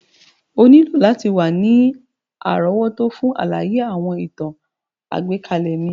O nílò láti wa ni àrówótó fun àlàyé àwọn ìtàn àgbékalẹ̀ mi.